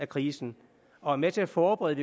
krisen og er med til at forberede